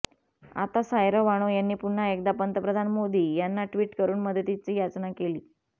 आता सायरा बानो यांनी पुन्हा एकदा पंतप्रधान मोदी यांना टि्वट करून मदतीची याचना केली